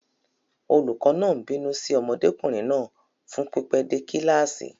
Olùkọ́ náà ń bínú sí ọmọdékùnrin náà fún pípẹ́ dé kíláàsì.